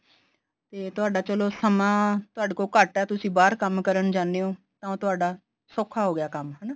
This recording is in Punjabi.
ਤੇ ਤੁਹਾਡਾ ਚਲੋ ਸਮਾਂ ਤੁਹਾਡੇ ਕੋਲ ਘੱਟ ਐ ਤੁਸੀਂ ਬਾਹਰ ਕੰਮ ਕਰਨ ਜਾਂਦੇ ਹੋ ਤਾਂ ਉਹ ਤੁਹਾਡਾ ਸੌਖਾ ਹੋ ਗਿਆ ਕੰਮ ਹਨਾ